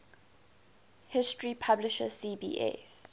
history publisher cbs